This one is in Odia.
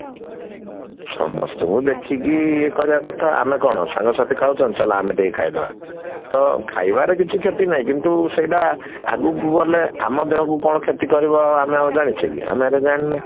ସମସ୍ତଙ୍କୁ ଦେଖିକି ଇଏ କରିବା କଥା ଆମେ କଣ ସାଙ୍ଗ ସାଥି ଖାଉଛନ୍ତି ଚାଲ ଆମେ ଟିକେ ଖାଇଦବା ଟା ଖାଇବାରେ କିଛି କ୍ଷତି ନାହିଁ କିନ୍ତୁ ସେଇଟା ଆଗକୁ ଗଲେ ଆମ ଦେହକୁ କଣ କ୍ଷତି କରିବ ଆମେ ଜାଣିଛେ କି ଆମେ ସେଇଗୁଡା ଜାଣିନେ